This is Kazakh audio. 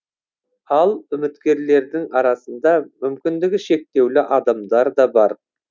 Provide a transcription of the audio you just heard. ал үміткерлердің арасында мүмкіндігі шектеулі адамдар да бар